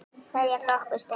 Kveðja frá okkur Steina.